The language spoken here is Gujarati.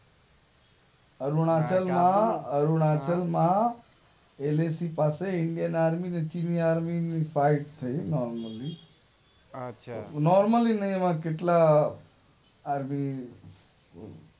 અરુણાચલ માં અરુણાચલ માં એલએસીઈ પાસે ઇન્ડિયન આર્મી ને ચીની આર્મી ની ફાઇટ થઇ નોર્મલી આછા આછા નોર્મલી એમાં કેટલા